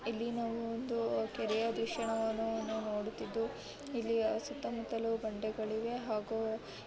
ಇಲ್ಲಿ ನಾವು ಒಂದು ಕೆರೆಯ ದೃಶ್ಯವನ್ನು ನೋಡುತ್ತಿದ್ದು ಇಲ್ಲಿ ಸುತ್ತಮುತ್ತ ಬಂಡೆಗಳಿವೆ ಹಾಗೂ --